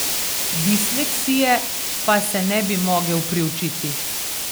Disleksije pa se ne bi mogel priučiti.